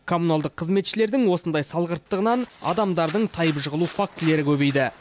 коммуналдық қызметшілердің осындай салғырттығынан адамдардың тайып жығылу фактілері көбейді